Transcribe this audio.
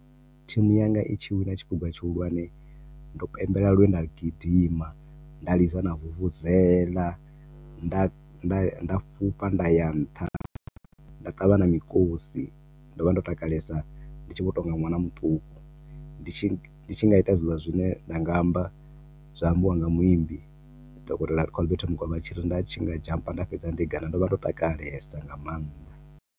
Thimu yanga i tshi wina tshiphuga tshihulwane, ndo pembela lwe nda gidima. Nda lidza na vuvuzela, nda nda fhufha nda ya nṱha, nda ṱavha na mikosi. Ndo vha ndo takalesa ndi tshi vho tou nga ṅwana muṱuku,. Ndi tshi, ndi tshi nga ita zwiḽa zwine ndi nga amba, zwa ambiwa nga muimbi, Dokotela Colbert Mukwevho vha tshi ri nda tshi nga zhampa nda fhedza nde gana. Ndo vha ndo takalesa nga maanḓa.